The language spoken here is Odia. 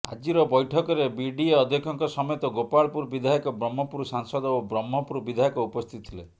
ଆଜିର ବୈଠକରେ ବିଡିଏ ଅଧ୍ୟକ୍ଷଙ୍କ ସମେତ ଗୋପାଳପୁର ବିଧାୟକ ବ୍ରହ୍ମପୁର ସାଂସଦ ଓ ବ୍ରହ୍ମପୁର ବିଧାୟକ ଉପସ୍ଥିତ ଥିଲେ